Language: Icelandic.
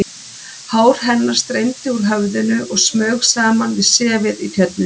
Hár hennar streymdi úr höfðinu og smaug saman við sefið í Tjörninni.